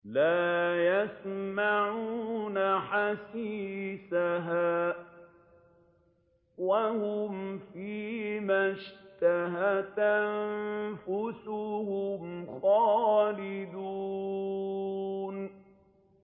لَا يَسْمَعُونَ حَسِيسَهَا ۖ وَهُمْ فِي مَا اشْتَهَتْ أَنفُسُهُمْ خَالِدُونَ